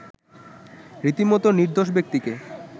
রীতিমত নির্দোষ ব্যক্তিকে